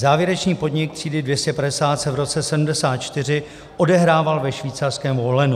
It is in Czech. Závěrečný podnik třídy 250 se v roce 1974 odehrával ve švýcarském Wohlenu.